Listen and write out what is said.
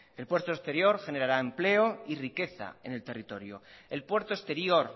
el puerto exterior generará empleo y riqueza en el territorio el puerto exterior